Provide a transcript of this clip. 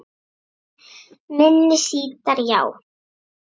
Minni sítar, já